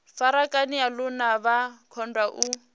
farakanea lune vha kundwa u